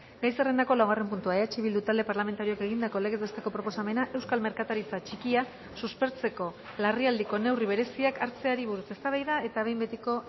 gai zerrendako laugarren puntua eh bildu talde parlamentarioak egindako legez besteko proposamena euskal merkataritza txikia suspertzeko larrialdiko neurri bereziak hartzeari buruz eztabaida eta behin betiko